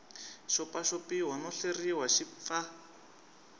xopaxopiwa no hleriwa xi pfa